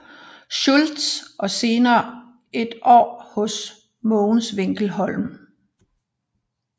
Schultz og senere et år hos Mogens Winkel Holm